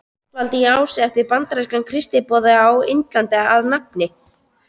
Ástvaldi í Ási eftir bandarískan kristniboða á Indlandi að nafni